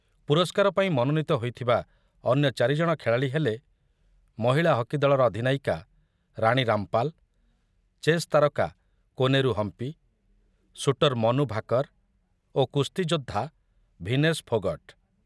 ପୁରସ୍କାର ପାଇଁ ମନୋନୀତ ହୋଇଥିବା ଅନ୍ୟ ଚାରି ଜଣ ଖେଳାଳୀ ହେଲେ ମହିଳା ହକି ଦଳର ଅଧିନାୟିକା ରାଣୀ ରାମପାଲ, ଚେସ୍ ତାରକା କୋନେରୁ ହମ୍ପି, ସୁଟର ମନୁ ଭାକର ଓ କୁସ୍ତି ଯୋଦ୍ଧା ଭିନେସ ଫୋଗଟ୍।